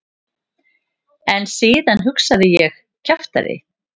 En síðan hugsaði ég: kjaftæði.